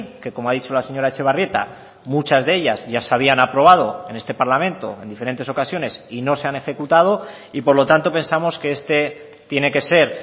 que como ha dicho la señora etxebarrieta muchas de ellas ya se habían aprobado en este parlamento en diferentes ocasiones y no se han ejecutado y por lo tanto pensamos que este tiene que ser